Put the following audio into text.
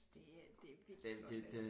Så det er det er virkelig flot